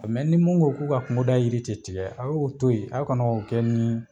ni min ko k'u ka kungoda yiri de tigɛ a y'o to yen aw kana o kɛ ni